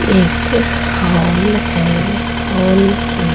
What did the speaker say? एक हॉल है हॉल में --